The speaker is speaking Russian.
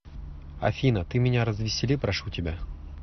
афина ты меня развесели прошу тебя